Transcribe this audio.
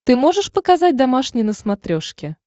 ты можешь показать домашний на смотрешке